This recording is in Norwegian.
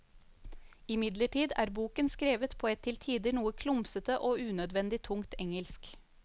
Imidlertid er boken skrevet på et til tider noe klumsete og unødvendig tungt engelsk.